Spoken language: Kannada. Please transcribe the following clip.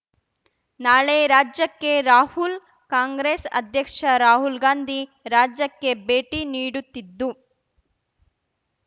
ನಾಳೆ ರಾಜ್ಯಕ್ಕೆ ರಾಹುಲ್ ಕಾಂಗ್ರೆಸ್ ಅಧ್ಯಕ್ಷ ರಾಹುಲ್‌ಗಾಂಧಿ ರಾಜ್ಯಕ್ಕೆ ಭೇಟಿ ನೀಡುತ್ತಿದ್ದು